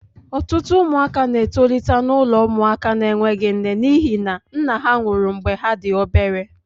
Ọtụtụ ụmụaka na-etolite n'ụlọ ụmụaka na-enweghị nne n'ihi na nne ha nwụrụ mgbe ha dị obere.